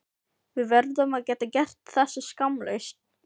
Við verðum að geta gert þetta skammlaust.